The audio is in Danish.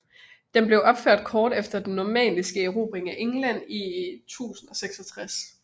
Den blev opført kort efter den normanniske erobring af England i 1066